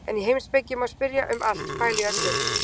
En í heimspeki má spyrja um allt, pæla í öllu.